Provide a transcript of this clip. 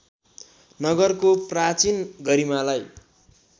नगरको प्राचीन गरिमालाई